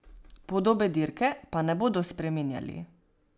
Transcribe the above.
Podobe dirke pa ne bodo spreminjali.